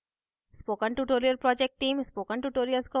spoken tutorial project team